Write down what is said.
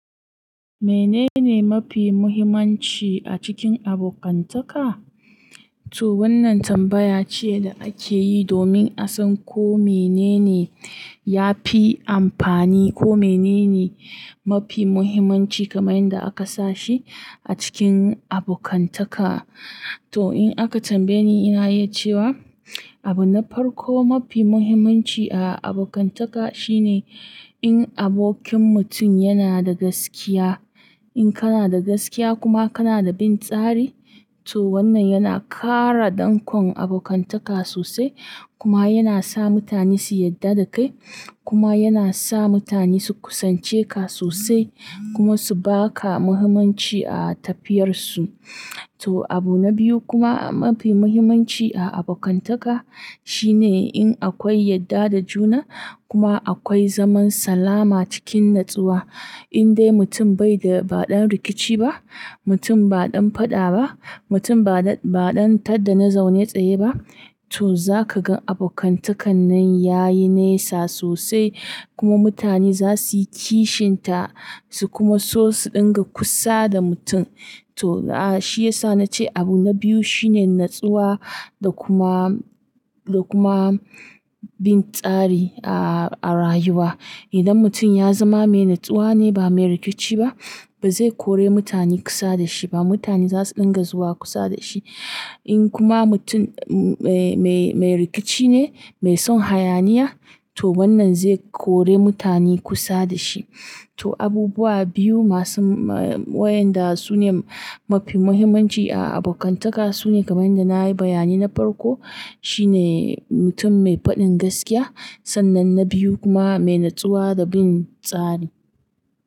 Menene mafi muhimmanci a cikin abokantaka? To wannan tambaya ce da ake yi domin a san ko menene ya fi amfani ko menene mafi muhimmanci kamar yadda aka sa shi a cikin abokantaka. To in aka tambaye ni, ina yi cewa abu na farko mafi muhimmanci a abokantaka shine in abokin mutum yana da gaskiya. In kana da gaskiya kuma kana da bin tsari, to wannan yana ƙara dankon abokantaka sosai kuma yana sa mutane su yadda da kai kuma yana sa mutane su kusance ka sosai kuma su ba ka muhimmanci a tafiyarsu. To abu na biyu kuma mafi muhimmanci a abokantaka shine in akwai yadda da juna kuma akwai zaman salama cikin natsuwa. In dai mutum bai da ba ɗan rikici ba, mutum ba ɗan faɗa ba, mutum ba ɗan tar da na zaune tsaye ba, to za ka ga abokantakan nan ya yi nesa sosai kuma mutane za su yi kishinta su kuma so su ɗinga kusa da mutum. To shi ya sa na ce abu na biyu shine natsuwa da kuma, da kuma bin tsari a rayuwa. Idan mutum ya zama mai natsuwa ne ba mai rikici ba, ba zai kore mutane kusa da shi ba. Mutane za su ɗinga zuwa kusa da shi. In kuma mutum mai, mai, mai rikici ne, mai son hayaniya, to wannan zai kori mutane kusa da shi. To abubuwa biyu masu wayanda su ne mafi muhimmanci a abokantaka su ne kamar yadda na yi bayani na farko. Shi ne mutum mai faɗin gaskiya. Sannan na biyu kuma mai natsuwa da bin tsari.